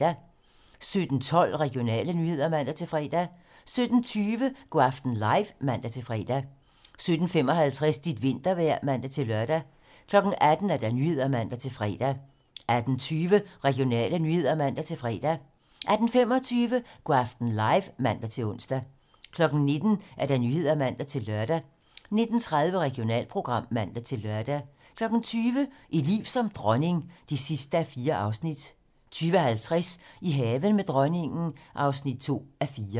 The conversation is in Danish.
17:12: Regionale nyheder (man-fre) 17:20: Go' aften live (man-fre) 17:55: Dit vintervejr (man-lør) 18:00: 18 Nyhederne (man-fre) 18:20: Regionale nyheder (man-fre) 18:25: Go' aften live (man-ons) 19:00: 19 Nyhederne (man-lør) 19:30: Regionalprogram (man-lør) 20:00: Et liv som dronning (4:4) 20:50: I haven med dronningen (2:4)